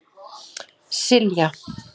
Silja